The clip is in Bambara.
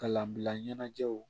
Kalanbila ɲɛnajɛw